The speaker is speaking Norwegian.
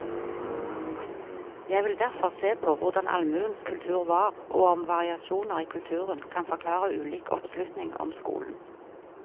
Jeg vil derfor se på hvordan allmuens kultur var, og om variasjoner i kulturen kan forklare ulik oppslutning om skolen.